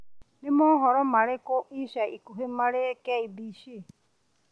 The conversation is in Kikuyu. nĩ mohoro marĩkũ ma ica ikuhĩ marĩ K.B.C